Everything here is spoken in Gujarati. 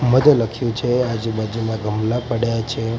મધ્ય લખ્યું છે આજુબાજુમાં ગમલા પડ્યા છે.